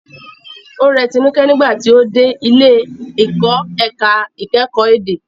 Ó rẹ Tinuke nígbà tí ó dé ilé ìkọ́ ẹ̀ka ìkẹ́kọ̀ọ́ èdè.